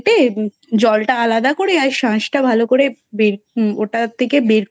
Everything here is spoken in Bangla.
কেটে জলটা আলাদা করে শাঁসটা ভালো করে ওটা থেকে বের